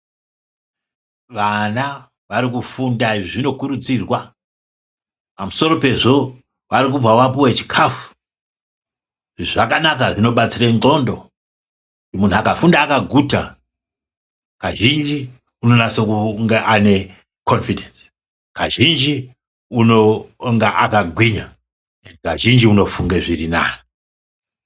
Vana varikufunda zvinokurudzirwa pamusoro pezvi varikubva vapuwa chikafu zvakanaka zvinobatsire ndxondo muntu akafunda akaguta kazhinji unonasa kunge ane konifidhenzi, kazhinji unonga akagwinya kazhinji unofunga zvirinani.